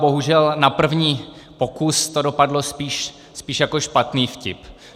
Bohužel na první pokus to dopadlo spíš jako špatný vtip.